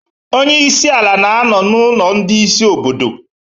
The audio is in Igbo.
Onye isi ala na-anọ na ulo ndị isi obodo